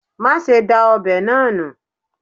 Mase da obe naa nu